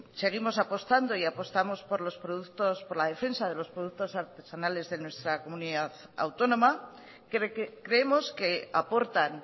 seguimos apostando y apostamos por la defensa de los productos artesanales de nuestra comunidad autónoma que creemos que aportan